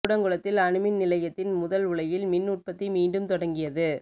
கூடங்குளத்தில் அணுமின் நிலையத்தின் முதல் உலையில் மின் உற்பத்தி மீண்டும் தொடங்கியது